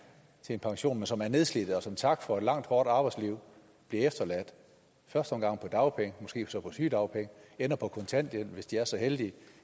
til pension og som er nedslidte og som tak for et langt hårdt arbejdsliv bliver efterladt i første omgang på dagpenge måske så på sygedagpenge ender på kontanthjælp hvis de er så heldige